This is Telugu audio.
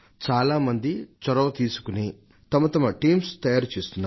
చాలా మంది చొరవ తీసుకుని తమ తమ జట్లను తయారు చేస్తున్నారు